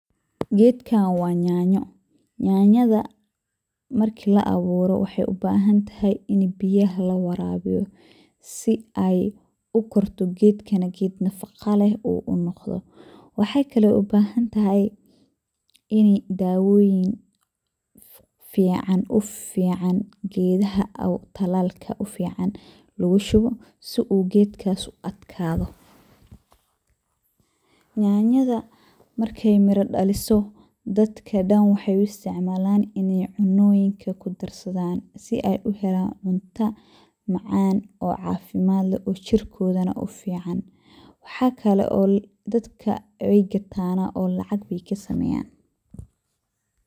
Gedkan wa yanyo, yanyada marki labero wexey ubahantahay inii biyo lawarawiyo sii ey ukorto gedkana ged nafaqo leh ey noqoto waxay kale ubahantahay in dawoyin ufican talalka lugushubo sii uu gedkas uu atkado. Yanyada markey miro dhaliso dadka wexey uu isticmalan in ey cunoyinka kudarsadan sii ey uhelan cunta macan oo oo cafimad leeh oo jirkoda uufican. Waxa kale oo dadka wey gatan oo lacag ayey kasameyan.